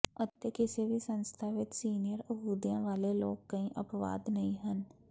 ਅਤੇ ਕਿਸੇ ਵੀ ਸੰਸਥਾ ਵਿਚ ਸੀਨੀਅਰ ਅਹੁਦਿਆਂ ਵਾਲੇ ਲੋਕ ਕੋਈ ਅਪਵਾਦ ਨਹੀਂ ਹਨ